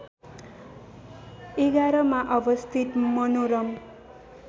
११ मा अवस्थित मनोरम